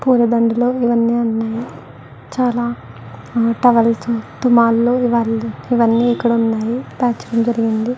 పూలదండలు ఇవి అన్ని ఉన్నాయి చాలా టవల్స్ తుమ్ములు అవి అన్ని ఇక్కడ ఉన్నాయి పేర్చడం జరిగింది.